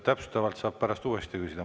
Täpsustavalt saab pärast uuesti küsida.